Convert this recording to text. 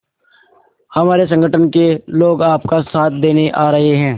हमारे संगठन के लोग आपका साथ देने आ रहे हैं